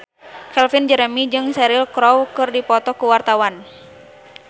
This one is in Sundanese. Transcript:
Calvin Jeremy jeung Cheryl Crow keur dipoto ku wartawan